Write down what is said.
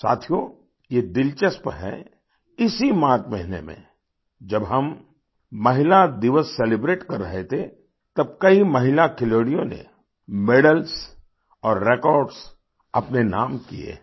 साथियो ये दिलचस्प है इसी मार्च महीने में जब हम महिला दिवस सेलिब्रेट कर रहे थे तब कई महिला खिलाड़ियों ने मेडल्स और रेकॉर्ड्स अपने नाम किये हैं